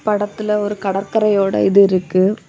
படத்துல ஒரு கடற்கரையோட இது இருக்கு.